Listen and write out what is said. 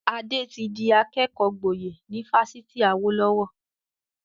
Ade tí di akẹ́kọ̀ọ́ gboyè ni Fásitì Awolowo